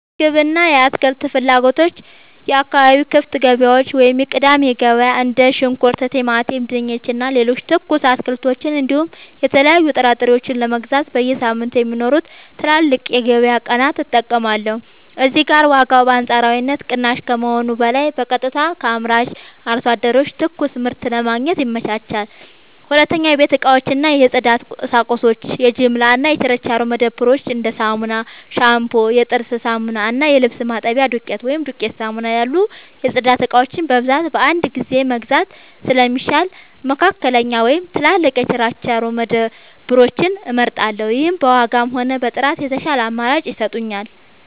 የምግብ እና የአትክልት ፍላጎቶች የአካባቢ ክፍት ገበያዎች (የቅዳሜ ገበያ): እንደ ሽንኩርት፣ ቲማቲም፣ ድንች እና ሌሎች ትኩስ አትክልቶችን እንዲሁም የተለያዩ ጥራጥሬዎችን ለመግዛት በየሳምንቱ የሚኖሩትን ትላልቅ የገበያ ቀናት እጠቀማለሁ። እዚህ ጋር ዋጋው በአንጻራዊነት ቅናሽ ከመሆኑም በላይ በቀጥታ ከአምራች አርሶ አደሮች ትኩስ ምርት ለማግኘት ይመቻቻል። 2. የቤት እቃዎች እና የጽዳት ቁሳቁሶች የጅምላ እና የችርቻሮ መደብሮች: እንደ ሳሙና፣ ሻምፑ፣ የጥርስ ሳሙና እና የልብስ ማጠቢያ ዱቄት (ዱቄት ሳሙና) ያሉ የጽዳት እቃዎችን በብዛት በአንድ ጊዜ መግዛት ስለሚሻል፣ መካከለኛ ወይም ትላልቅ የችርቻሮ መደብሮችን እመርጣለሁ። ይህም በዋጋም ሆነ በጥራት የተሻለ አማራጭ ይሰጠኛል።